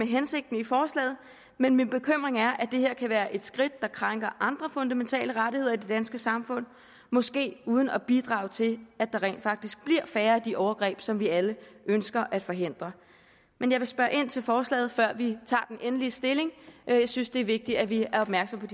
hensigten i forslaget men min bekymring er at det her kan være et skridt der krænker andre fundamentale rettigheder i det danske samfund måske uden at bidrage til at der rent faktisk bliver færre af de overgreb som vi alle ønsker at forhindre men jeg vil spørge ind til forslaget før vi tager endelig stilling jeg synes det er vigtigt at vi er opmærksomme